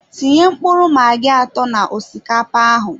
Tinye mkpụrụ magi atọ na osikapa ahụ